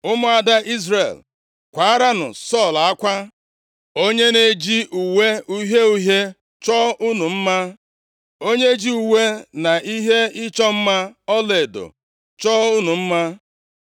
“Ụmụada + 1:24 Maọbụ, Ụmụ ndị inyom Izrel. Izrel, kwaaranụ Sọl akwa. Onye na-eji uwe uhie uhie chọọ unu mma. Onye ji uwe na ihe ịchọ mma ọlaedo chọọ unu mma.